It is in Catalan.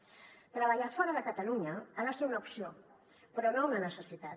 treballar fora de catalunya ha de ser una opció però no una necessitat